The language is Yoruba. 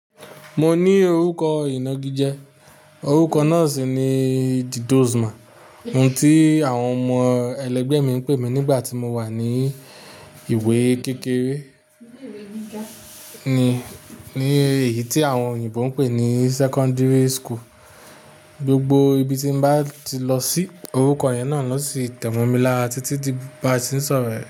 Mo ní orúkọ Ìnagijẹ, orúkọ náà sì ni Didosma. Ohun tí àwọn ọmọ ẹlẹgbẹ́ mi ń pè mí nígbà tí mo wà ní ìwé kékere ni, ní èyí tí àwọn òyìnbó ń pè ní secondary school. Gbogbo ibi tí mo bá ti lọ sí, orúkọ yẹn náà ló si tẹ̀ mọ́ mi lára títi dí bà se ń sọ̀rọ̀ ẹ̀